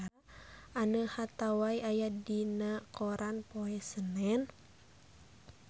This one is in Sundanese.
Anne Hathaway aya dina koran poe Senen